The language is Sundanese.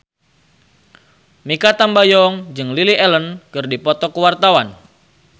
Mikha Tambayong jeung Lily Allen keur dipoto ku wartawan